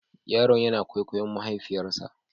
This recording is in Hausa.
Yaron yana kwaikwayon mahaifiyarsa.